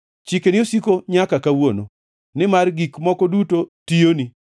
Chikeni osiko nyaka kawuono, nimar gik moko duto tiyoni.